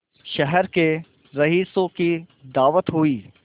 शहर के रईसों की दावत हुई